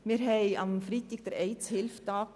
Wir hatten am Freitag den Welt-AIDS-Tag.